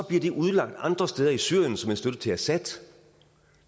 det udlagt andre steder i syrien som en støtte til assad